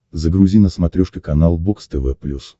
загрузи на смотрешке канал бокс тв плюс